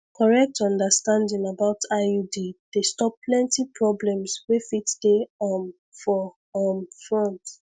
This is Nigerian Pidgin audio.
correct understanding about iud dey stop plenty problems wey fit dey um for um front